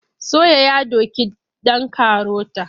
Soya ya doki ɗan karota.